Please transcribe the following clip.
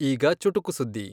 ಈಗ ಚುಟುಕು ಸುದ್ದಿ